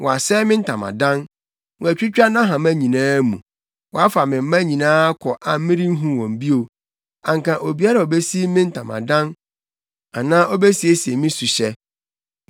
Wɔasɛe me ntamadan; wɔatwitwa nʼahama nyinaa mu. Wɔafa me mma nyinaa kɔ a merenhu wɔn bio; anka obiara a obesi me ntamadan anaa obesiesie me suhyɛ.